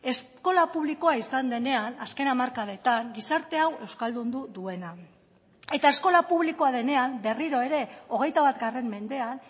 eskola publikoa izan denean azken hamarkadetan gizarte hau euskaldundu duena eta eskola publikoa denean berriro ere hogeita bat mendean